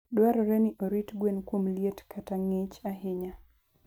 dwarore ni orit gwen kuom liet kata ng'ich ahinya.